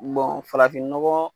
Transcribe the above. farafin nɔgɔ